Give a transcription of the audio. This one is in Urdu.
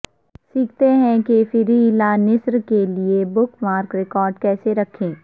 سیکھتے ہیں کہ فرییلانسز کے لئے بک مارک ریکارڈ کیسے رکھیں